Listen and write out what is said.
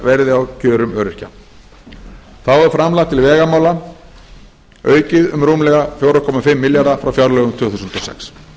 verði á kjörum öryrkja þá eru framlög til vegamála aukin um rúmlega fjögur komma fimm milljarða frá fjárlögum tvö þúsund og sex